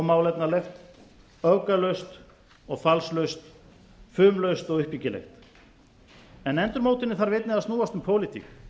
málefnalegt öfgalaust og falslaust fumlaust og uppbyggilegt en endurmótunin þarf einnig að snúast um pólitík